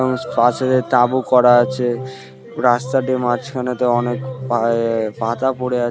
মানুষ পাশে একটি তাবু করা আছে রাস্তাটির মাঝখানে তো অনেক এ-এ-এ পাতা পরে--